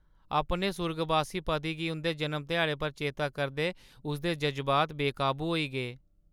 अपने सुर्गबासी पति गी उं'दे जनम ध्याड़े पर चेतै करदे उसदे जज़्बात बेकाबू होई गे।